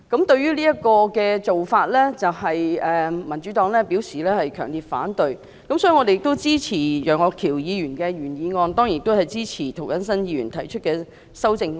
對於這種做法，民主黨表示強烈反對，所以我們支持楊岳橋議員的原議案，當然亦支持涂謹申議員提出的修正案。